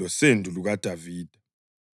losendo lukaDavida.